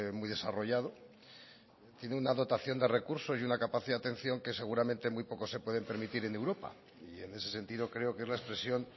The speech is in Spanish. muy desarrollado tiene una dotación de recursos y una capacidad de atención que seguramente muy pocos se pueden permitir en europa y en ese sentido creo que es la expresión